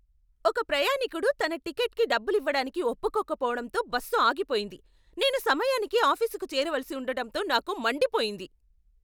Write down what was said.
ఒక ప్రయాణీకుడు తన టికెట్కి డబ్బులివ్వడానికి ఒప్పుకోకపోవడంతో బస్సు ఆగిపోయింది. నేను సమయానికి ఆఫీసుకు చేరవలసి ఉండటంతో నాకు మండిపోయింది.